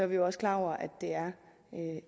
vi også klar over at det er